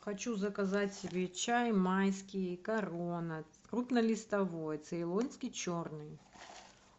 хочу заказать себе чай майский корона крупнолистовой цейлонский черный